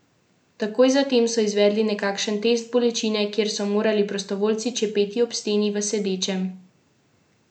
Takoj za tem so izvedli nekakšen test bolečine, kjer so morali prostovoljci čepeti ob steni v sedečem položaju.